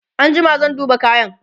an jima zan duba kayan